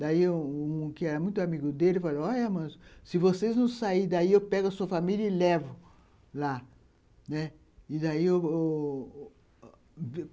Daí um um que era muito amigo dele falou, olha, Amâncio, mas se vocês não saírem daí eu pego a sua família e levo lá.